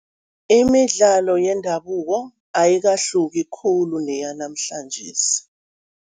Imidlalo yendabuko ayikahluki khulu neyanamhlanjesi.